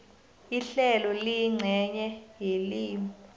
ihlelo liyincenye yelimi